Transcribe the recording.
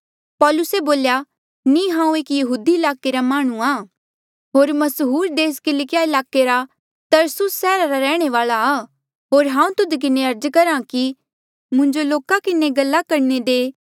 पौलुसे बोल्या नी हांऊँ एक यहूदिया ईलाके रे माह्णुंआं होर मसहूर देस किलकिया ईलाके रा तरसुस सैहरा रे रैहणे वाल्आ आ होर हांऊँ तुध किन्हें अर्ज करहा कि मुंजो लोका किन्हें गल्ला करणे दे